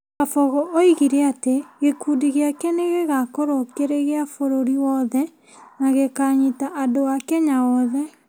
Kabogo oigire atĩ gĩkundi gĩake nĩ gĩgakorwo kĩrĩ gĩa bũrũri wothe na gĩkaanyita andũ a Kenya othe.